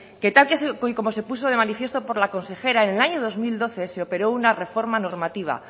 que tal y como se puso de manifiesto por la consejera en el año dos mil doce se operó una reforma normativa